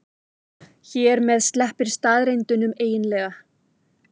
Hér með sleppir staðreyndunum eiginlega.